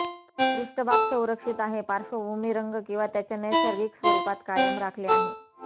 पृष्ठभाग संरक्षित आहे पार्श्वभूमी रंग किंवा त्याच्या नैसर्गिक स्वरूपात कायम राखले आहे